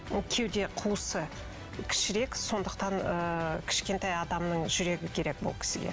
ол кеуде қуысы кішірек сондықтан ыыы кішкентай адамның жүрегі керек бұл кісіге